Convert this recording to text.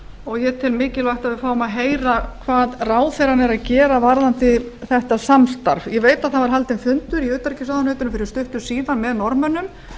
og ég tel mikilvægt að við fáum að heyra hvað ráðherrann er að gera varðandi þetta samstarf ég veit að það var haldinn fundur í utanríkisráðuneytinu fyrir stuttu síðan með norðmönnum